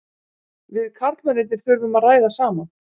Við karlmennirnir þurfum að ræða saman.